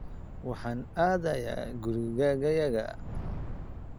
Waxaan aadayaa gurigayaga.